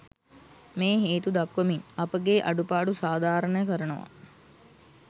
මේ හේතු දක්වමින් අපගේ අඩුපාඩු සාධාරණ කරනවා.